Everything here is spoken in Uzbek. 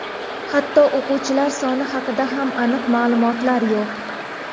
Hatto o‘quvchilar soni haqida ham aniq ma’lumotlar yo‘q.